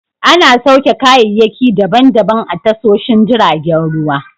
Ana sauke kayayyaki daban daban a tashoshin jiragen ruwa.